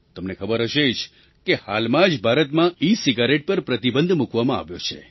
તમને ખબર હશે જ કે હાલમાં જ ભારતમાં ઇસિગારેટ પર પ્રતિબંધ મૂકવામાં આવ્યો છે